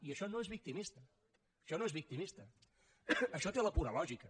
i això no és victimista això no és victimista això té la pura lògica